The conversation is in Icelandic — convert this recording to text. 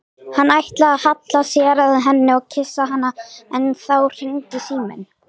Hann ætlaði að halla sér að henni og kyssa hana en þá hringdi síminn.